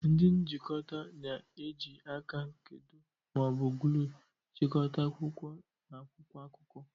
Ndi njikota na-eji aka nkedo ma ọ bụ gluu chịkọta akwụkwọ na akwụkwọ akụkọ.